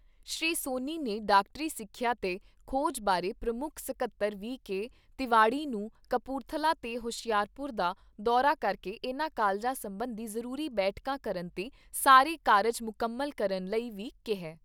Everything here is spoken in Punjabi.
ਸ੍ਰੀ ਸੋਨੀ ਨੇ ਡਾਕਟਰੀ ਸਿੱਖਿਆ ਤੇ ਖੋਜ ਬਾਰੇ ਪ੍ਰਮੁੱਖ ਸਕੱਤਰ ਵੀ ਕੇ ਤਿਵਾੜੀ ਨੂੰ ਕਪੂਰਥਲਾ ਤੇ ਹੁਸ਼ਿਆਰਪੁਰ ਦਾ ਦੌਰਾ ਕਰਕੇ ਇਨ੍ਹਾਂ ਕਾਲਜਾਂ ਸਬੰਧੀ ਜ਼ਰੂਰੀ ਬੈਠਕਾਂ ਕਰਨ ਤੇ ਸਾਰੇ ਕਾਰਜ ਮੁਕੰਮਲ ਕਰਨ ਲਈ ਵੀ ਕਿਹਾ ।